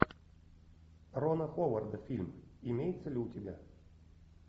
рона ховарда фильм имеется ли у тебя